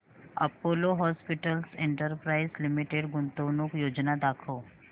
Apollo hospitals enterprise limited गुंतवणूक योजना दाखव